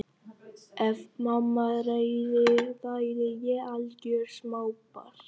Ef mamma réði væri ég algjört smábarn.